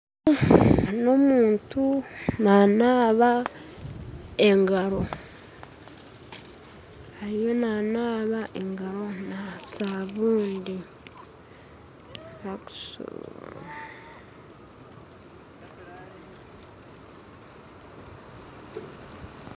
N'omuntu nanaba engaro ariyo nanaba engaro na sabuuni.